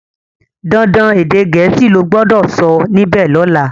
dandan èdè Gèésì lo gbó dó sọ níbè lola!